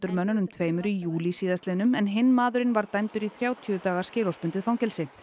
mönnunum tveimur í júlí síðastliðnum en hinn maðurinn var dæmdur í þrjátíu daga skilorðsbundið fangelsi